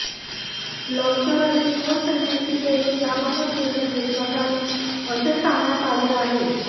लवकरच शिवसेनेशी बोलून याबाबत निर्णय घेतला जाईल असे सांगण्यात आले आहे